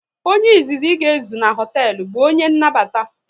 Onye izizi ị ga ezu na hoteelu bụ onye nnabata